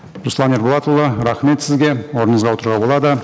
руслан ерболатұлы рахмет сізге орныңызға отыруға болады